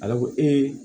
Ala ko